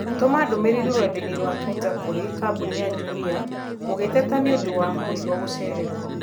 Tũma ndũmĩrĩri rũrenda-inī rũa tũita kũrĩ kambuni ya Jumia ũgiteta nĩ ũndũ wa mũrigo gũcererwo